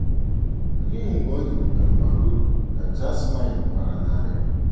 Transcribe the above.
“ Ọ dịghị mgbe ọ dị m ka m bara uru, ” ka Jasmine kwara n’arịrị.